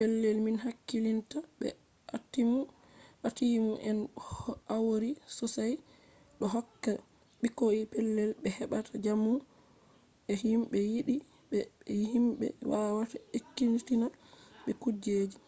pellel min hakkilinta be atiimu en hauri sosai ɗo hokka ɓikkoi pellel ɓe heɓata jamu be himɓe yiɗi ɓe be himɓe wawata ekkitina ɓe kujeji